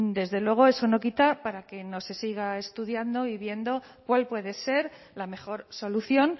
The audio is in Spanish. desde luego eso no quita para que no se siga estudiando y viendo cuál puede ser la mejor solución